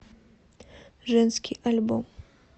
женский альбом